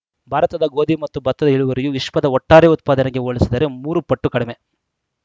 ಭಾರತದ ಗೋಧಿ ಮತ್ತು ಭತ್ತದ ಇಳುವರಿಯು ವಿಶ್ವದ ಒಟ್ಟಾರೆ ಉತ್ಪಾದನೆಗೆ ಹೋಲಿಸಿದರೆ ಮೂರು ಪಟ್ಟು ಕಡಿಮೆ